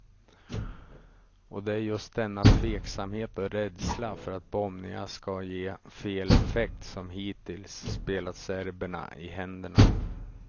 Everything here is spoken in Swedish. Och det är just denna tveksamhet och rädsla för att bombningar skall ge fel effekt som hittills spelat serberna i händerna.